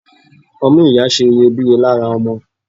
Ọmú ìyá ṣe iyebíye lára ọmọ.